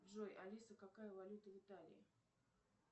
джой алиса какая валюта в италии